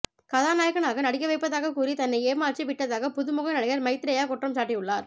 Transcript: கதாநாயகனாக நடிக்கவைப்பதாகக் கூறி தன்னை ஏமாற்றி விட்டதாக புதுமுக நடிகர் மைத்ரேயா குற்றம் சாட்டியுள்ளா